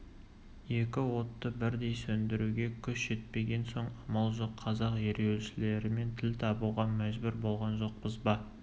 екі отты бірдей сөндіруге күш жетпеген соң амал жоқ қазақ ереуілшілерімен тіл табуға мәжбүр болған жоқпыз ба